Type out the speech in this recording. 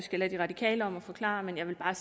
har